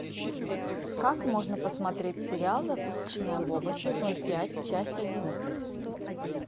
как можно посмотреть сериал закусочная боба сезон пять часть одиннадцать